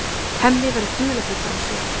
Hemmi verður dularfullur á svip.